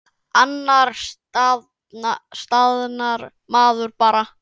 Annars staðnar maður bara.